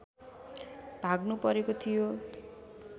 भाग्नुपरेको थियो